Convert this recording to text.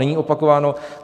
Není opakováno.